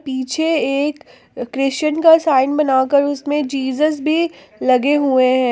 पीछे एक क्रिश्चियन का साइन बनाकर उसमें जीसस भी लगे हुए हैं।